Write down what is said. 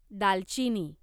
दालचिनी